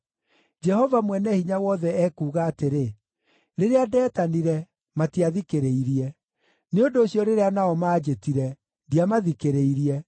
“Jehova Mwene-Hinya-Wothe ekuuga atĩrĩ, ‘Rĩrĩa ndeetanire, matiathikĩrĩirie; nĩ ũndũ ũcio rĩrĩa nao maanjĩtire, ndiamathikĩrĩirie.